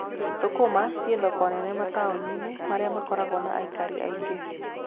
Thũkũma ci thoko nene mataũni-inĩ marĩa makoragwo na aikari aingĩ.